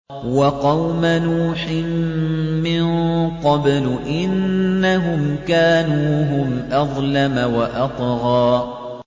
وَقَوْمَ نُوحٍ مِّن قَبْلُ ۖ إِنَّهُمْ كَانُوا هُمْ أَظْلَمَ وَأَطْغَىٰ